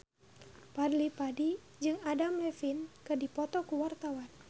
Fadly Padi jeung Adam Levine keur dipoto ku wartawan